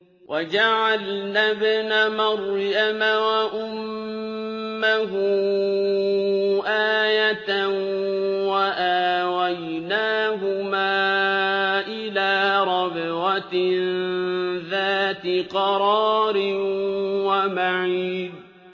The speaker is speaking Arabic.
وَجَعَلْنَا ابْنَ مَرْيَمَ وَأُمَّهُ آيَةً وَآوَيْنَاهُمَا إِلَىٰ رَبْوَةٍ ذَاتِ قَرَارٍ وَمَعِينٍ